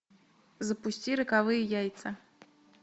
запусти роковые яйца